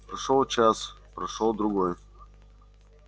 прошёл час прошёл другой